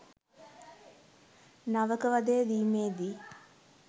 නවක වදය දීමේදී